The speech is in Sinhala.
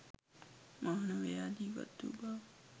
මානවයා ජීවත් වූ බව